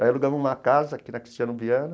Daí alugamos uma casa aqui na Cristiano Viana.